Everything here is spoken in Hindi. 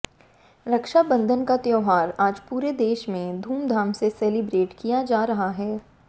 रक्षा बंधन का त्योहार आज पूरे देश में धूमधाम से सेलिब्रेट किया जा रहा है